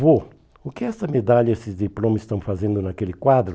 Vô, o que essa medalha e esse diploma estão fazendo naquele quadro?